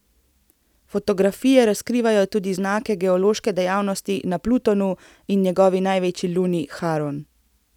Fotografije razkrivajo tudi znake geološke dejavnosti na Plutonu in njegovi največji luni Haron.